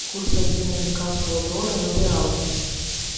курс обмена американского доллара на реалы